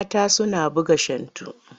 Mata suna buga shantu.